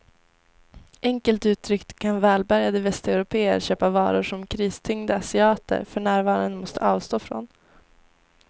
Enkelt uttryckt kan välbärgade västeuropéer köpa varor som kristyngda asiater för närvarande måste avstå ifrån.